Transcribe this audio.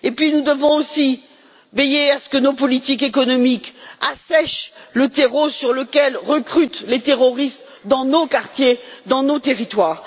Nous devons aussi veiller à ce que nos politiques économiques assèchent le terreau sur lequel recrutent les terroristes dans nos quartiers, dans nos territoires.